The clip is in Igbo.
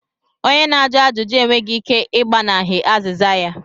Onye na-ajụ ajụjụ e nweghị ike ị gbanahie azịza ya.